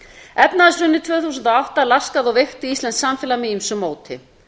efnahagshrunið tvö þúsund og átta laskaði og veikti íslenskt samfélag með ýmsu móti